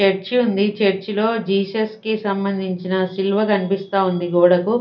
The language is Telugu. చర్చి ఉంది చర్చి లో జీసస్ కి సంబంధించిన సిలువ కనిపిస్తోంది గోడకు.